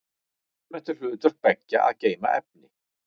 Almennt er hlutverk beggja að geyma efni.